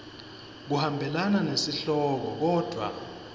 kuhambelana nesihloko kodvwa